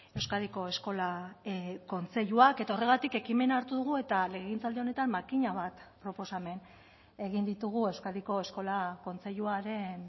euskadiko eskola kontseiluak eta horregatik ekimena hartu dugu eta legegintzaldi honetan makina bat proposamen egin ditugu euskadiko eskola kontseiluaren